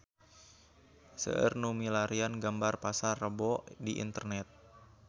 Seueur nu milarian gambar Pasar Rebo di internet